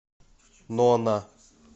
нона